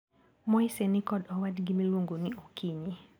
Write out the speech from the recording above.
Moise nikod owadgi miluongo ni Okinyi.